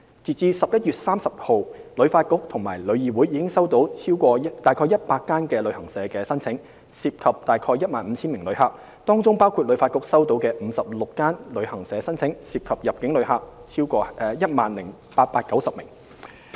截至11月30日，旅發局和旅議會已收到約100間旅行社的申請，涉及近 15,000 名旅客，當中包括旅發局收到的56間旅行社申請，涉及入境旅客共 10,890 名。